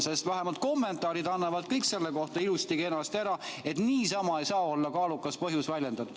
Sest vähemalt kommentaarid annavad kõik selle kohta ilusti-kenasti, et niisama ei saa olla kaalukas põhjus väljendatud.